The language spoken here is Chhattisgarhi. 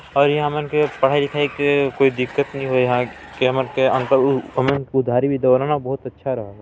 औ ये हमन के पढ़ाई लिखाई के कोई दिक्कत नी होय ला काहे की हमन के अंकल हमन के उधारी भी देवेला बहुत अच्छा रहा ला --